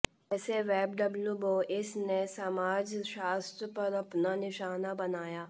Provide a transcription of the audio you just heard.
कैसे Web W Bois ने समाजशास्त्र पर अपना निशान बनाया